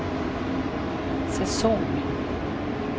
säsong